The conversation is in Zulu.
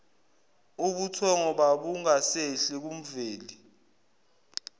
ubuthongo babungasehli kumveli